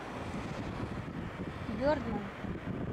бердмэн